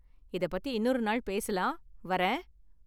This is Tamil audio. இதப் பத்தி இன்னொரு நாள் பேசலாம் வரேன்.